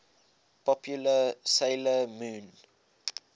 popular 'sailor moon